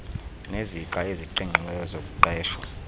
nezixa eziqingqiweyo zokuqeshwa